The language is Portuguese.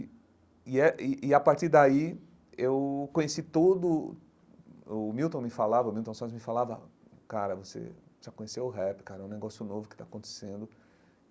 E e, é e e é a partir daí, eu conheci todo... O Milton me falava, o Milton Santos me falava, cara, você já conheceu o rap, cara, é um negócio novo que está acontecendo.